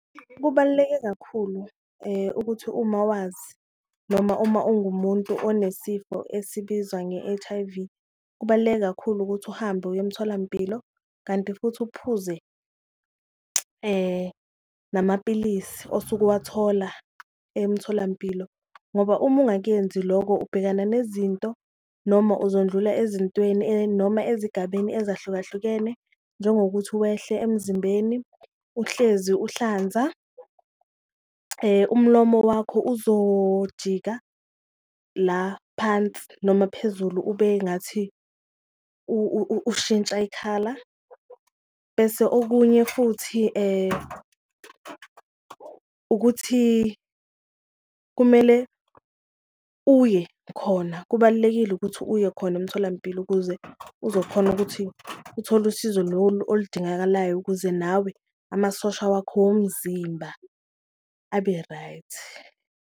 Kubaluleke kakhulu ukuthi uma wazi noma uma ungumuntu onesifo esibizwa nge-H_I_V, kubaluleke kakhulu ukuthi uhambe uye emtholampilo kanti futhi uphuze namapilisi osuke wathola emtholampilo. Ngoba uma engakuyenzi loko ubhekana nezinto noma uzondlula ezintweni noma ezigabeni ezahlukahlukene njengokuthi wehle emzimbeni, uhlezi ukuhlanza, umlomo wakho uzojika la phansi noma phezulu ube ngathi ushintsha ikhala. Bese okunye futhi ukuthi kumele uye khona kubalulekile ukuthi uye khona emtholampilo, ukuze uzokhona ukuthi uthole usizo lolu oludingakalayo ukuze nawe amasosha wakho womzimba abe right.